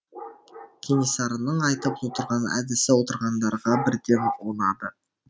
кенесарының айтып отырған әдісі отырғандарға бірден ұнады